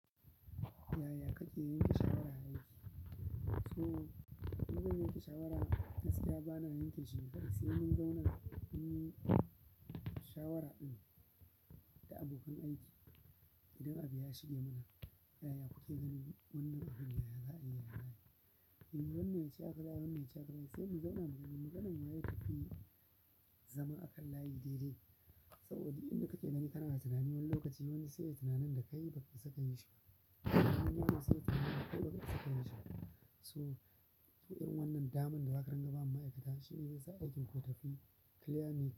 Yaya kake yanke shawara a aiki? To in zan yanke shawara gaskiya bana yanke shi mai ƙarfi sai mun zauna mun yi shawara da abokan aiki idan abu ya shige mana. Yaya kuke ganin wannan abun? Yaya za a yi? Yaya ba yi? Shin wannan ce aka za'a wannan ce aka rage? Sai mun zauna mu ji maganan waye ta fi zama a kan layi daidai. Saboda inda kake nan, kana da tunani wani lokaci wani sai ya yi tunanin da ka yi baka saka yi shi. Wani lokacin sai tunanin ka duk lokaci saka yi shi. So, yin wannan daman da ba ka rangama ma'aikata shine yasa aikin ku tafi clear ne.